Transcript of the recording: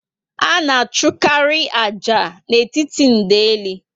A na achụkarị ájá n'etiti ndeli